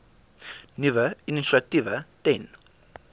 nuwe initiatiewe ten